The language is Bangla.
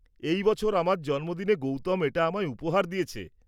এই বছর আমার জন্মদিনে গৌতম এটা আমায় উপহার দিয়েছে।